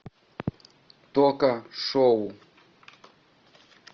тока шоу